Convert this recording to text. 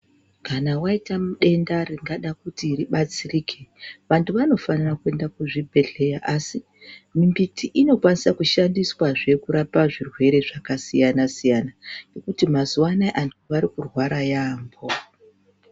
Kana waita denda ringada kuti ribatsirike vantu vanofanira kuenda kuzvibhedhleya asi mbiti inokwanisa kushandiswahe kurapa zvirwere zvakasiyana -siyana ngekuti azuwa anaya vanhu varikurwara yaamho.